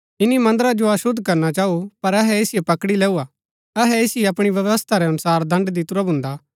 ईनी मन्दरा जो अशुद्ध करणा चाऊ पर अहै ऐसिओ पकड़ी लैऊआ [अहै ऐसिओ अपणी व्यवस्था रै अनुसार दण्ड़ दितुरा भून्दा